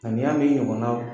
A n'i y'a mɛn i ɲɔgɔnna